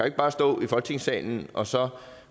ikke bare stå i folketingssalen og så